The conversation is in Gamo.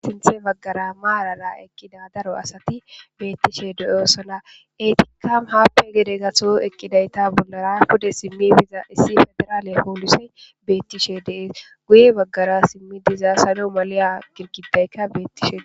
Sinthe baggara maalara eqqida daro asati beettishe deyosona etika haappe gede gato eqqidayta bollara pude simmi biza issi federaale hoolisey bettishe deees guye baggara simmi diza sano maleya girgidayka bettishee.